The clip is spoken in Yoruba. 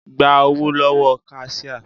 Gba owó lówó kasíá